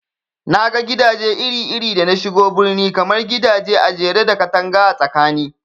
Naga gidaje iri iri da nashigo birni, kamar gidaje ajere da katanga a tsakani